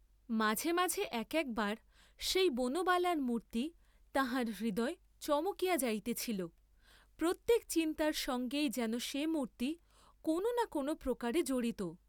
মাঝে মাঝে এক একবার সেই বনবালার মূর্তি তাঁহার হৃদয়ে চমকিয়া যাইতেছিল, প্রত্যেক চিন্তার সঙ্গেই যেন সে মূর্ত্তি কোন না কোন প্রকারে জড়িত।